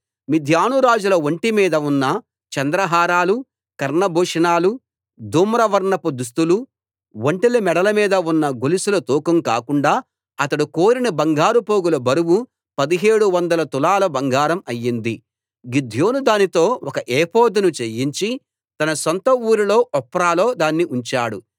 మిద్యాను రాజుల ఒంటి మీద ఉన్న చంద్రహారాలు కర్ణభూషణాలు ధూమ్రవర్ణపు దుస్తులు ఒంటెల మెడల మీద ఉన్న గొలుసుల తూకం కాకుండా అతడు కోరిన బంగారు పోగుల బరువు పదిహేడు వందల తులాల బంగారం అయ్యింది గిద్యోను దానితో ఒక ఏఫోదును చేయించి తన సొంత ఊరు ఒఫ్రాలో దాన్ని ఉంచాడు